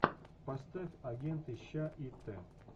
поставь агенты щ и т